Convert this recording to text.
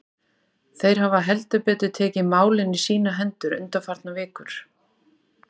Þeir hafa heldur betur tekið málin í sínar hendur undanfarnar vikur.